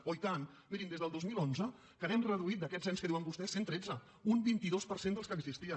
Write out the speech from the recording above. oh i tant mirin des del dos mil onze que n’hem reduït d’aquests ens que diuen vostès cent i tretze un vint dos per cent dels que existien